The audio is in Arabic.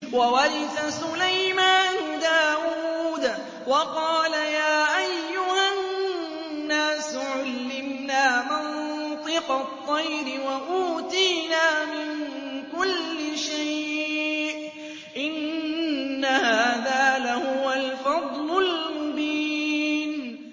وَوَرِثَ سُلَيْمَانُ دَاوُودَ ۖ وَقَالَ يَا أَيُّهَا النَّاسُ عُلِّمْنَا مَنطِقَ الطَّيْرِ وَأُوتِينَا مِن كُلِّ شَيْءٍ ۖ إِنَّ هَٰذَا لَهُوَ الْفَضْلُ الْمُبِينُ